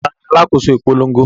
Ta ni alákòóso ìpolongo?